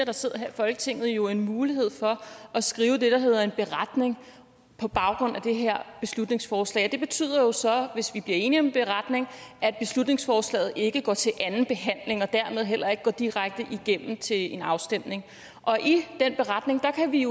der sidder her i folketinget jo en mulighed for at skrive det der hedder en beretning på baggrund af det her beslutningsforslag og det betyder jo så hvis vi bliver enige om en beretning at beslutningsforslaget ikke går til anden behandling og dermed heller ikke går direkte igennem til en afstemning og i den beretning kan vi